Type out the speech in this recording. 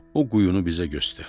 O quyunu bizə göstər.